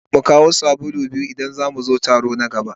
An ce mu kawo sabulu biyu idan za mu zo taro na gaba.